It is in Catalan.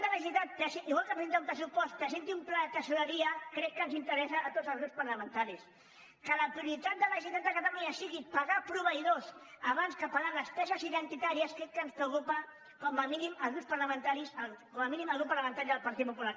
de la generalitat igual que presenta un pressupost presenti un pla de tresoreria crec que ens interessa a tots els grups parlamentaris que la prioritat de la generalitat de catalunya sigui pagar proveïdors abans que pagar despeses identitàries crec que ens preocupa com a mínim al grup parlamentari del partit popular